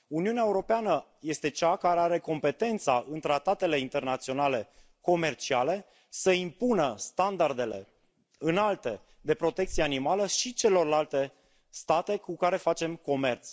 Uniunea Europeană este cea care are competența, în tratatele internaționale comerciale, să impună standardele înalte de protecție animală și celorlalte state cu care facem comerț.